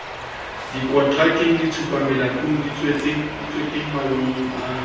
dikontrakeng ditshupamelatong ditjhekeng mangolong a